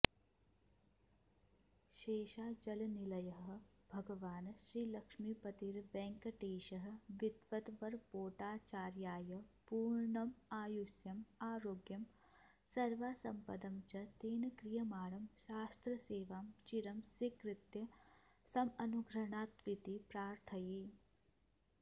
शेषाचलनिलयः भगवान् श्रीलक्ष्मीपतिर्वेङ्कटेशः विद्वद्वरपोटाचार्याय पूर्णमायुष्यमारोग्यं सर्वां सम्पदं च तेन क्रियमाणं शास्त्रसेवां चिरं स्वीकृत्य समनुगृह्णात्विति प्रार्थये